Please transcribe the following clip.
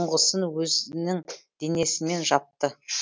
ұңғысын өзінің денесімен жапты